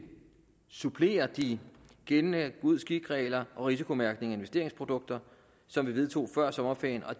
supplere de gældende god skik regler og risikomærkning af investeringsprodukter som vi vedtog før sommerferien og